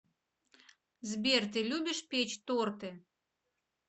сбер ты любишь печь торты